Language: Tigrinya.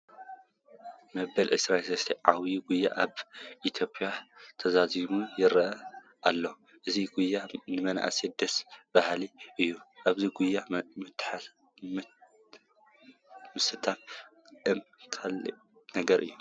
መበል 23 ዓብዪ ጉያ ኣብ ኢትዮዮጵያ እንትዛዘም ይርአ ኣሎ፡፡ እዚ ጉያ ንምርኣዩ ደስ በሃሊ እዩ፡፡ ኣብዚ ጉያ ምስታፍ እማ ካልእ ነገር እዩ፡፡